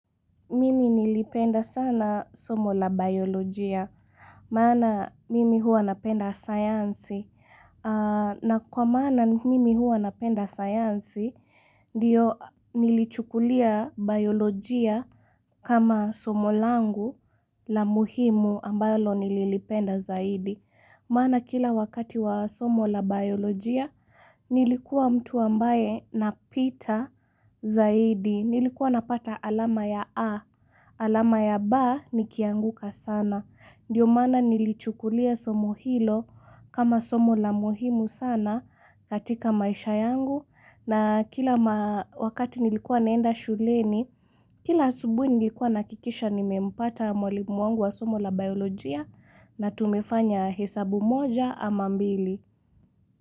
Mimi nilipenda sana somo la biolojia, maana mimi hua napenda sayansi na kwa maana mimi hua napenda sayansi ndiyo nilichukulia biolojia kama somo langu la muhimu ambalo nililipenda zaidi maana kila wakati wa somo la biolojia Nilikuwa mtu ambaye na pita zaidi, nilikuwa napata alama ya A alama ya B nikianguka sana. Ndio maana nilichukulia somo hilo kama somo la muhimu sana katika maisha yangu na kila wakati nilikuwa naenda shuleni, kila subuhi nilikuwa nahakikisha nimempata mwalimu wangu wa somo la biolojia na tumefanya hesabu moja ama mbili.